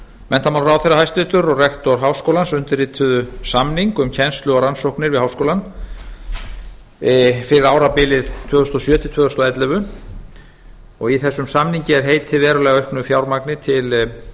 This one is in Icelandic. menntamálaráðherra hæstvirtur og rektor háskóla íslands undirrituðu samning um kennslu og rannsóknir við háskólann fyrir árabilið tvö þúsund og sjö til tvö þúsund og ellefu í þessum samningi er heitið verulega auknu fjármagni til